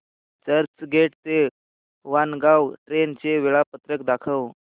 चर्चगेट ते वाणगांव ट्रेन चे वेळापत्रक दाखव